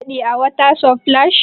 Kun samu nishaɗi a water splash?